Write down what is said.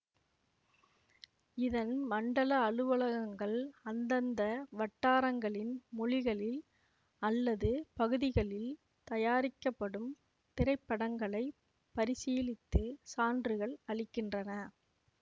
இதன் மண்டல அலுவலகங்கள் அந்தந்த வட்டாரங்களின் மொழிகளில் அல்லது பகுதிகளில் தயாரிக்கப்படும் திரைப்படங்களைப் பரிசீலித்து சான்றுகள் அளிக்கின்றன